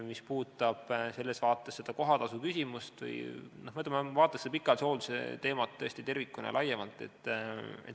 Mis puudutab selles vaates kohatasuküsimust, siis seda pikaajalise hoolduse teemat tuleb vaadata tõesti tervikuna ja laiemalt.